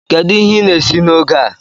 Kedu ihe ị na-esi n'oge a?